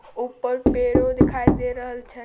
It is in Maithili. ऊपर पेड़ों दिखाई दे रहल छै।